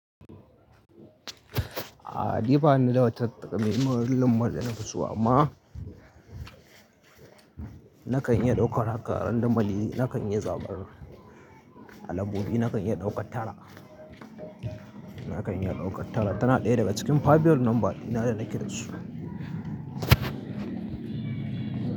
A dai ba ni da wata takamaiman lamba da na fi so amma na kan iya ɗauka haka randanmali, na kan iya zaɓar alambobi, na kan iya ɗauka tara, na kan iya ɗauka tara. Tana ɗaya daga cikin fabiyol nomba dina da nake da su.